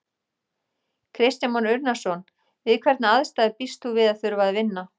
Kristján Már Unnarson: Við hvernig aðstæður býst þú við að þurfa að vinna?